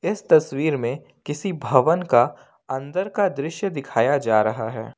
इस तस्वीर में किसी भवन का अंदर का दृश्य दिखाया जा रहा है।